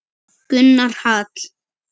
Gunnar Hall.